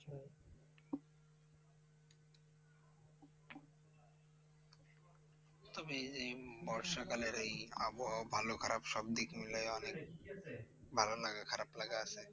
তবে এই যে বর্ষাকালের এই আবহওয়া ভালো খারাপ সবদিক মিলিয়ে অনেক ভালোলাগা খারাপলাগা আছে।